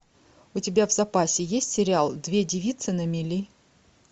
у тебя в запасе есть сериал две девицы на мели